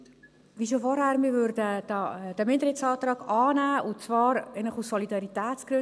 Wir würden, wie schon vorhin, den Minderheitsantrag annehmen, und zwar in erster Linie eigentlich aus Solidaritätsgründen.